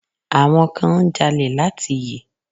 Àwọn kan ń jalè láti yè.